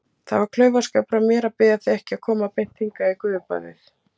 Það var klaufaskapur af mér að biðja þig ekki að koma beint hingað í gufubaðið.